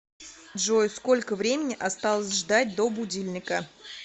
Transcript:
джой сколько времени осталось ждать до будильника